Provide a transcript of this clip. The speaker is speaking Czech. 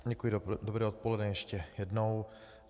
Děkuji, dobré odpoledne ještě jednou.